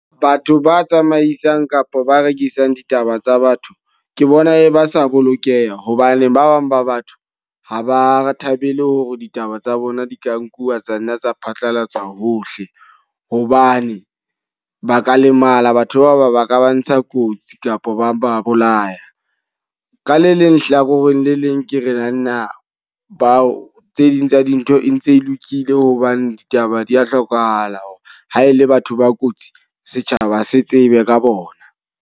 Batho ba tsamaisang kapa ba rekisang ditaba tsa batho. Ke bona e ba sa bolokeha. Hobane ba bang ba batho ha ba thabele hore ditaba tsa bona di ka nkuwa tsa nna tsa phatlalatswa hohle. Hobane ba ka lemala, batho bao ba ba ka ba ntsha kotsi kapo ba ba bolaya. Ka le leng hlakoreng le leng ke re na na bao tse ding tsa dintho e ntse e lokile, hobane ditaba di a hlokahala. Hore ha e le batho ba kotsi, setjhaba se tsebe ka bona.